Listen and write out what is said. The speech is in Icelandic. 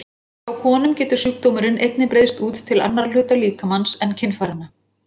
Hjá konum getur sjúkdómurinn einnig breiðst út til annarra hluta líkamans en kynfæranna.